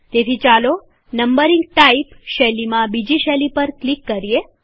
તેથી ચાલો numbering type શૈલીમાં બીજી શૈલી પર ક્લિક કરીએ